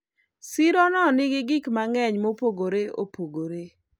siro no nigi gik mang'eny mopogore opogore